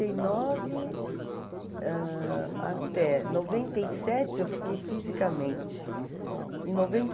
e nove, ãh, até noventa e sete, eu fiquei fisicamente. Em noventa